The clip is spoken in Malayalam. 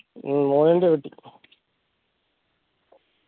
ഹും മോഹന്റെ വീട്ടി